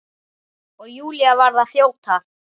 Og Júlía varð að þjóta.